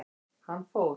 Hann fór.